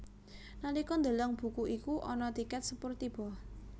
Nalika ndeleng buku iku ana tikèt sepur tiba